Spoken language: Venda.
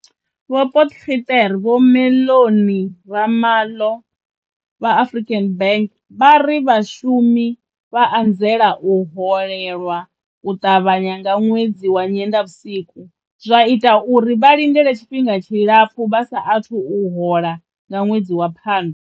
Vho Potgieter vho Mellony Ramalho vha African Bank vha ri vhashumi vha anzela u holelwa u ṱavhanya nga ṅwedzi wa Nyendavhusiku, zwa ita uri vha lindele tshifhinga tshilapfu vha sa athu u hola nga ṅwedzi wa Phando.